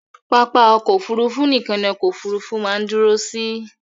Pápá ọkọ̀ Òfurufú nìkan ni ọkọ òfurufú máa ń dúró sí.